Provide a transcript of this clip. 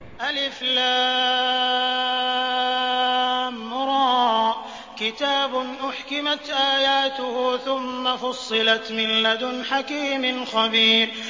الر ۚ كِتَابٌ أُحْكِمَتْ آيَاتُهُ ثُمَّ فُصِّلَتْ مِن لَّدُنْ حَكِيمٍ خَبِيرٍ